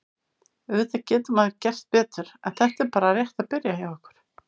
Auðvitað getur maður gert betur en þetta er bara rétt að byrja hjá okkur.